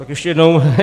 Tak ještě jednou.